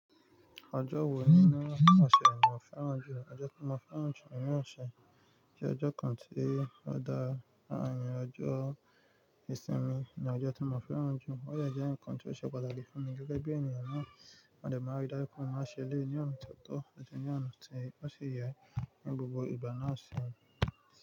Ọjọ́ wo nínú ọ̀ṣẹ̀ ni ò fẹ́ràn jù? Ọjọ́ tí mo fẹ́ràn jù nínú ọ̀ṣẹ̀ jẹ́ ọjọ́ kan tí ó dáa, ọjọ́ ìsinmi ni ọjọ́ tí mo fẹ́ràn jù. Ó de jẹ́ ǹkan tí ó ṣe pataki fún mi gẹ́gẹ́ bí ènìyàn náà. Mode máa rí dájú pé ó máa ṣẹ eléyi ní ọ̀nà ti o tọ́ àti ní ọ̀nà tí ó ṣe yẹ ní gbogbo ìgbà náà ṣi.